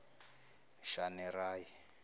shanerayi